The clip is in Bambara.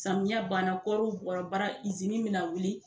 Samiya ban na kɔɔriw bɔra baara izini mi na wuli.